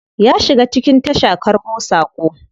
Ya shiga cikin tasha karbo sako.